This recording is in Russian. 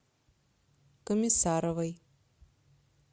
комиссаровой